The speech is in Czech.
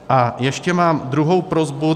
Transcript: A ještě mám druhou prosbu.